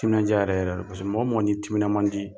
Timinan diya yɛrɛ yɛrɛ don. mɔgɔ mɔgɔ n'i timinan man di